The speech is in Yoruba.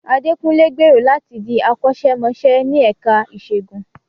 Adekunle gbèrò láti di akọ́ṣẹ́mọṣẹ́ ní ẹ̀ka ìṣègùn.